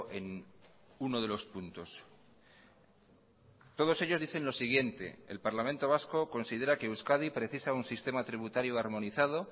en uno de los puntos todos ellos dicen lo siguiente el parlamento vasco considera que euskadi precisa un sistema tributario armonizado